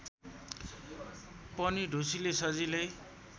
पनि ढुसीले सजिलै